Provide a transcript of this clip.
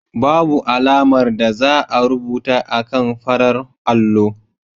Babu alamar da za a rubuta akan farar allo.